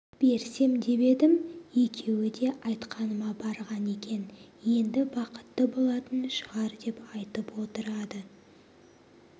берсем деп едім екеуі де айтқаныма барған екен енді бақытты болатын шығар деп айтып отырады